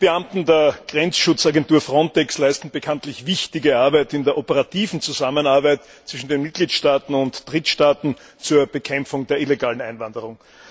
Die Beamten der Grenzschutzagentur FRONTEX leisten bekanntlich wichtige Arbeit in der operativen Zusammenarbeit zwischen den Mitgliedstaaten und Drittstaaten zur Bekämpfung der illegalen Einwanderung.